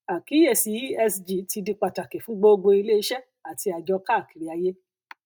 àkíyèsí esg ti di pàtàkì fún gbogbo iléiṣẹ àti àjọ káàkiri ayé